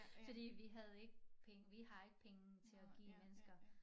Fordi vi havde ikke penge vi har ikke penge til at give mennesker